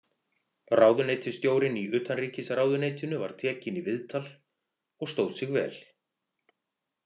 Ráðuneytisstjórinn í utanríkisráðuneytinu var tekinn í viðtal og stóð sig vel.